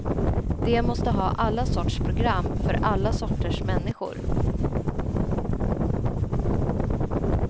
De måste ha alla sorts program, för alla sorters människor.